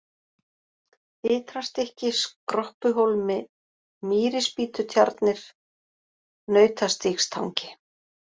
Ytrastykki, Skroppuhólmi, Mýrispítutjarnir, Nautastígstangi